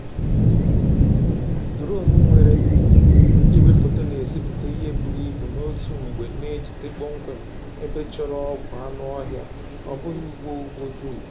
Duronu nwere igwefoto na-ezipụta ihe buru ibu n'otu mgbe na-ejide kpọmkwem ebe chọrọ ọgwụ anụ ọhịa, ọ bụghị ugbo ugbo dum.